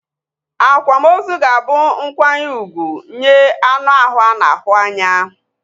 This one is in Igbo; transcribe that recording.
Akwamozu ga-abu nkwanye úgwù nye anu ahụ ana ahu anya